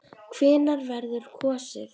Hvenær verður kosið?